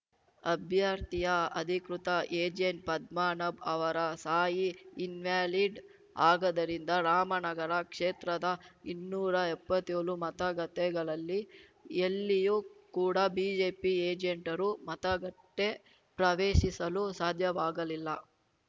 ಅಭ್ಯರ್ಥಿಯ ಅಧಿಕೃತ ಏಜೆಂಟ್‌ ಪದ್ಮನಾಭ್‌ ಅವರ ಸಾಹಿ ಇನ್‌ವ್ಯಾಲಿಡ್‌ ಆಗದ್ದರಿಂದ ರಾಮನಗರ ಕ್ಷೇತ್ರದ ಇನ್ನೂರಾ ಎಪ್ಪತ್ತೇಳು ಮತಗಟ್ಟೆಗಳಲ್ಲಿ ಎಲ್ಲಿಯೂ ಕೂಡ ಬಿಜೆಪಿ ಏಜೆಂಟರು ಮತಗಟ್ಟೆಪ್ರವೇಶಿಸಲು ಸಾಧ್ಯವಾಗಲಿಲ್ಲ